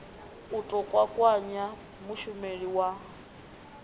u ḓo kwakwanya mushumeli wa